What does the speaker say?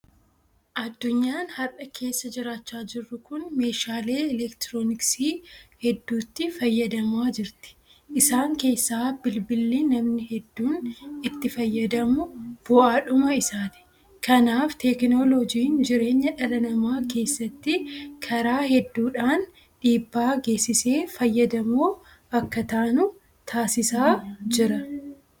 Addunyaan har'a keessa jiraachaa jirru kun meeshaalee elektirooniksii hedduutti fayyadamaa jirti. Isaan keessaa Bilbilli namni hedduun itti fayyadamu bu'aadhuma isaati. Kanaaf Teekinooloojiin jireenya dhala namaa keessatti karaa hedduudhaan dhiibbaa geessisee fayyadamoo akka taanu taasisaa jira.